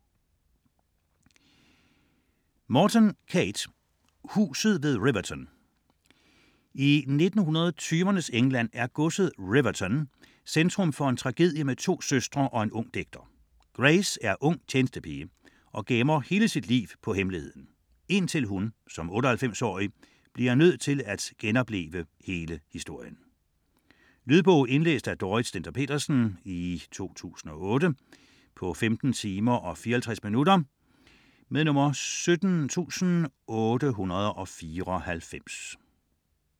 Morton, Kate: Huset ved Riverton I 1920'ernes England er godset Riverton centrum for en tragedie med to søstre og en ung digter. Grace er ung tjenestepige og gemmer hele sit liv på hemmeligheden - indtil hun som 98-årig bliver nødt til at genopleve hele historien. Lydbog 17894 Indlæst af Dorrit Stender-Pedersen, 2008. Spilletid: 15 timer, 54 minutter.